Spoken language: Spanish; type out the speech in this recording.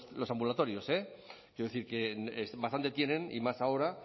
los ambulatorios eh quiero decir que bastante tienen y más ahora